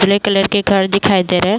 जले कलर के घर दिखाई दे रहे।